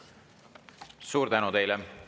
Suur tänu teile!